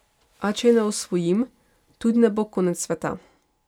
A če je ne osvojim, tudi ne bo konec sveta.